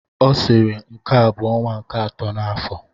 Ọ sịrị nke a bụ ọnwa nke akọ n'afọ!